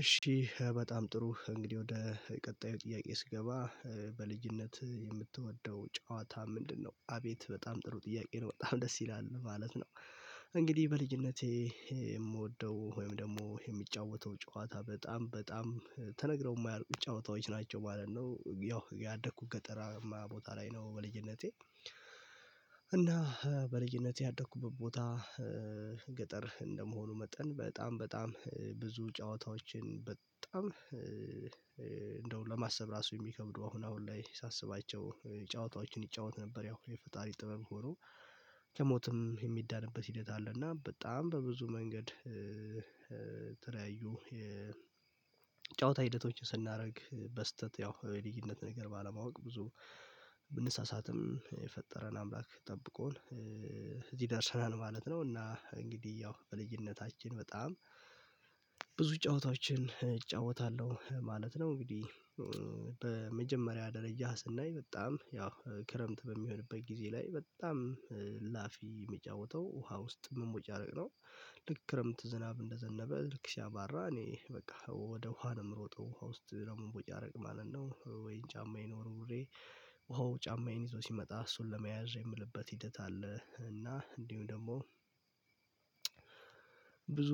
እሺ በጣም ጥሩ እንግዲህ ወደ ቀጣዩ ጥያቄ ስገባ በልጅነት የምትወደው ጨዋታ ምንድነው? አቤት በጣም ጥሩ ጥያቄ ነው በጣም ደስ ይላል ማለት ነው። እንግዲህ በልጅነቴ የምወደው ወይም ደግሞ የሚጫወተው ጨዋታ በጣም በጣም ተነግረው የማያልቁ ጨዋታዎች ናቸው ማለት ነው። ያደኩት ገጠራማ ቦታ ላይ ነው በልጅነቴ። እና በልጅነቴ ያደኩበት ቦታ ገጠር እንደመሆኑ መጠን በጣም በጣም ብዙ ጨዋታዎችን በጣም እንደው ለማሰብ ራሱ የሚከብዱ አሁን ላይ ሳስባቸው ጨዋታዎችን ይጫወት ነበር። ያው የፈጣሪ ጥበብ ሆኖ ከሞትም የሚዳንበት ሂደት አለ። እና በጣም በብዙ መንገድ ተለያዩ የጨዋታ ሂደቶችን ስናደርግ በስህተት ያው የልጅነት ነገር ባለማወቅ ብዙ ብንሳሳትም የፈጠረን አምላክ ጠብቆን እዚህ ደርሰናል ማለት ነው። እና እንግዲህ ያው በልጅነታችን በጣም ብዙ ጨዋታዎችን እጫወታለሁ ማለት ነው። እንግዲህ በመጀመሪያ ደረጃ ስናይ በጣም ያው ክረምት በሚሆንበት ጊዜ ላይ በጣም ላፊ የሚጫወተው ውሃ ውስጥ ምን ወጪ አደረግነው? ልክ ክረምት ዝናብ እንደዘነበ ልክ ሲያባራ እኔ በቃ ወደ ውሃ ነው የምሮጠው ውሃ ውስጥ ደግሞ ቦይ ያረቅ ማለት ነው። ወይ ጫማዬን ወርውሬ ወው ጫማዬን ይዞ ሲመጣ እሱን ለመያዝ የምልበት ሂደት አለ። እና እንዲሁም ደግሞ ብዙ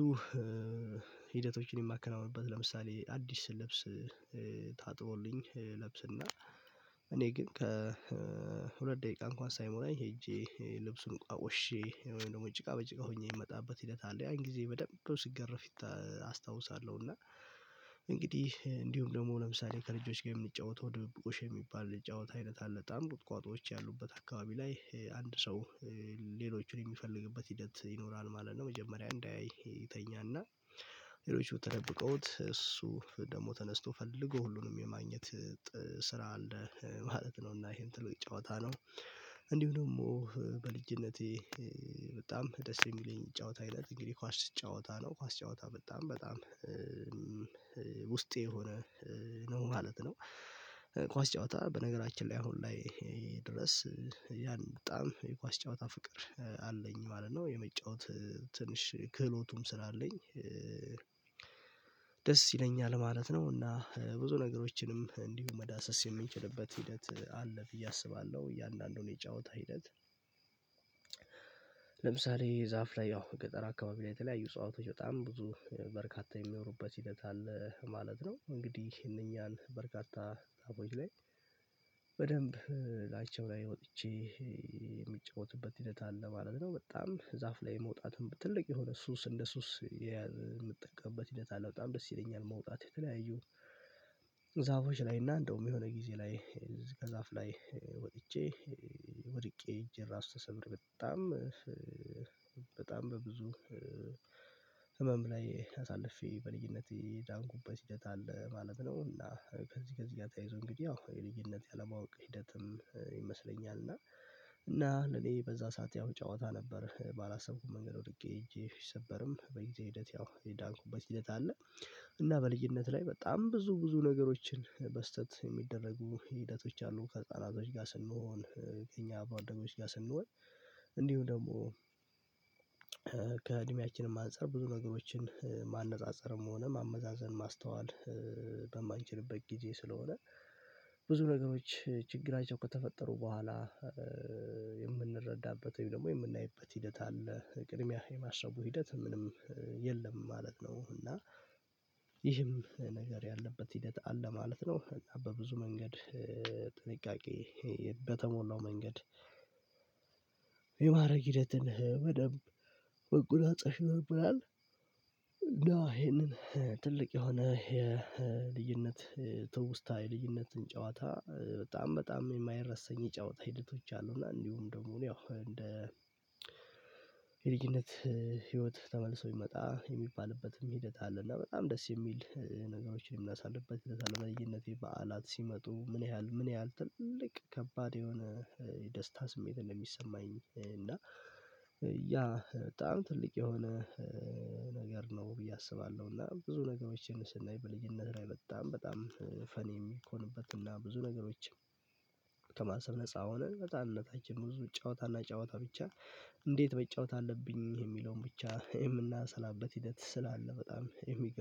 ሂደቶችን የማከናውንበት ለምሳሌ አዲስ ልብስ ታጥቦልኝ ለብስና እኔ ግን ከሁለት ሁለት ደቂቃ እንኳን ሳይሞላ ሄጄ ልብሱን ሀቆሽ እሺ ወይም ደግሞ ጭቃ በጭቃ ሆኜ የሚመጣበት ሂደት አለ። ያን ጊዜ በደንብ እንደው ሲገረፍ አስታውሳለሁ እና እንግዲህ እንዲሁም ደግሞ ለምሳሌ ከልጆች ጋር የሚጫወተው ድብቁሽ የሚባል ልጅ አይነት አለች አንድ ቁጥቋጦዎች ያሉበት አካባቢ ላይ አንድ ሰው የሚፈልግበት ሂደት ይኖራል ማለት ነው። መጀመሪያ እንዳያይ ይተኛል እና ሌሎች ተደብቀውት እሱ ደግሞ ተነስቶ ፈልጎ ሁሉንም የማግኘት ስራ አለ ማለት ነው። እና ይሄን ትልቅ ጨዋታ ነው። እንዲሁ ደግሞ በልጅነቴ በጣም ደስ የሚለኝ ጨዋታ አይነት እንግዲህ ኳስ ጨዋታ ነው ኳስ ጨዋታ በጣም በጣም ውስጤ የሆነ ነው ማለት ነው። ኳስ ጨዋታ በነገራችን ላይ አሁን ላይ ድረስ ያን በጣም የኳስ ጨዋታ ፍቅር አለኝ ማለት ነው የመጫወት ትንሽ ክህሎቱም ስላለኝ ደስ ይለኛል ማለት ነው። እና ብዙ ነገሮችንም እንዲሁ መዳሰስ የምንችልበት ሂደት አለ ብዬ አስባለሁ እያንዳንዱን የጫወተ ሂደት ለምሳሌ ዛፍ ላይ ያው ገጠር አካባቢ ላይ የተለያዩ እጸዋቶች በጣም ብዙ በርካታ የሚኖሩበት ሂደት አለ ማለት ነው። እንግዲህ ይሄንኛል በርካታ ጣቦች ላይ በደንብ ላይቼው ላይ ወጥቼ የሚጫወትበት ሂደት አለ ማለት ነው። በጣም ዛፍ ላይ መውጣትም ትልቅ የሆነ ሱስ እንደ ሱስ የምትጠቀምበት ሂደት አለ በጣም ደስ ይለኛል። መውጣት የተለያዩ እግዛዎች ላይ እና እንደውም የሆነ ጊዜ ላይ ከዛፍ ላይ ወጥቼ ወድቄ እጄ ራሱ ተሰብር በጣም በጣም በብዙ ህመም ላይ አሳልፌ በልጅነቴ የዳንኩበት ሂደት አለ ማለት ነው። እና ከዚህ ከዚህ ጋር ተይዞ ይዞ እንግዲህ ያው የልዩነት ያለማወቅ ሂደትም ይመስለኛል እና እና ለኔ በዛ ሰዓት ያው ጨዋታ ነበር ባላሰብኩት መንገድ ወድቄ ሄጄ ሲሰበርም በእግዚአብሔር ሂደት ያው የዳንኩበት ሂደት አለ። እና በልዩነት ላይ በጣም ብዙ ብዙ ነገሮችን በስህተት የሚደረጉ ሂደቶች አሉ ከጻና አዛዥ ጋር ስንሆን የኛ አብሮ ደጎች ጋር ስንሆን እንዲሁ ደግሞ ከእድሜያችን ማንፀር ብዙ ነገሮችን ማነፃፀርም ሆነ ማመዛዘን ማስተዋል በማንችልበት ጊዜ ስለሆነ ብዙ ነገሮች ችግራቸው ከተፈጠሩ በኋላ የምንረዳበት ደግሞ የምናይበት ሂደት አለ ቅድሚያ የማሰብ ሂደት ምንም የለም ማለት ነው። እና ይህም ነገር ያለበት ሂደት አለ ማለት ነው በብዙ መንገድ ጥንቃቄ በተሞላው መንገድ የማድረግ ሂደትን በደንብ ወጉና ፀሽ ነበር። ይሄንን ትልቅ የሆነ የልዩነት ትውስታ የልዩነትን ጨዋታ በጣም በጣም የማይረሰኝ የጨዋታ ሂደቶች አሉና እንዲሁም ደግሞ ያው እንደ የልጅነት ህይወት ተመልሶ ይመጣ የሚባልበትም ሂደት አለ። እና በጣም ደስ የሚል ነገሮችን የምናሳልበት ለየነቴ በዓላት ሲመጡ ምን ያህል ምን ያህል ትልቅ ከባድ የሆነ የደስታ ስሜት እንደሚሰማኝ እና ያ በጣም ትልቅ የሆነ ነገር ነው ብዬ አስባለሁ። እና ብዙ ነገሮችን ስናይ በልዩነት ላይ በጣም በጣም ፈኒ የሚኮንበት ብዙ ነገሮችን ከማሰብ ነፃ ሆነ በህጻንነታችን ብዙ ጨዋታና ጨዋታ ብቻ እንዴት መጫወት አለብኝ የሚለውን ብቻ የምናሰላበት ሂደት ስላለ በጣም የሚገልጽ